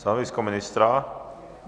Stanovisko ministra?